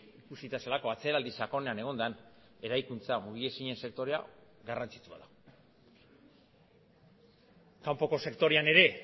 ikusita zelako atzeraldi sakonean egon den eraikuntza mugiezinen sektorea garrantzitsua da kanpoko sektorean ere